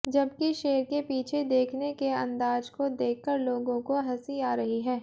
जबकि शेर के पीछे देखने के अंदाज को देखकर लोगों को हंसी आ रही है